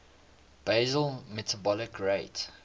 basal metabolic rate